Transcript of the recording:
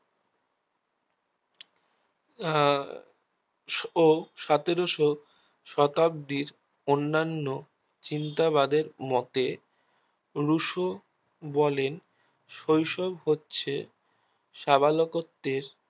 আহ ও সতেরোশো শতাব্দীর অন্যান্য চিন্তাবাদের মোতে রূশো বলেন শৈশব হচ্ছে সাবালককত্বের